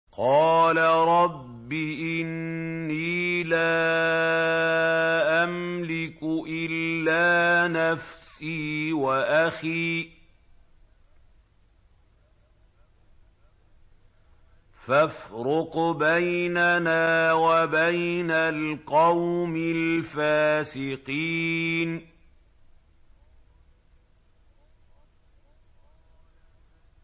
قَالَ رَبِّ إِنِّي لَا أَمْلِكُ إِلَّا نَفْسِي وَأَخِي ۖ فَافْرُقْ بَيْنَنَا وَبَيْنَ الْقَوْمِ الْفَاسِقِينَ